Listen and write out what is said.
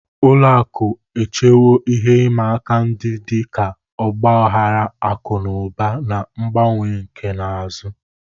Ụlọ akụ echewo ihe ịma aka ndị dị ka ọgba aghara akụ na ụba, na mgbanwe nkà na ụzụ.